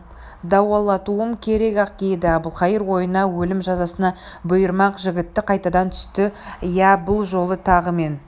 дауалатуым керек-ақ еді әбілқайыр ойына өлім жазасына бұйырмақ жігіті қайтадан түсті иә бұл жолы тағы мен